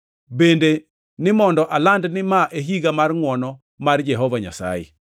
bende ni mondo aland ni ma e higa mar ngʼwono mar Jehova Nyasaye.” + 4:19 \+xt Isa 61:1,2\+xt*